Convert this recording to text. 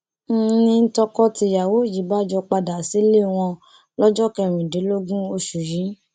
n ní tọkọtìyàwó yìí bá jọ padà sílé wọn lọjọ kẹrìndínlógún oṣù yìí